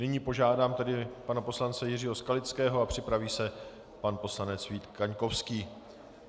Nyní požádám tedy pana poslance Jiřího Skalického a připraví se pan poslanec Vít Kaňkovský.